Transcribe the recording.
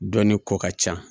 Dɔnni ko ka ca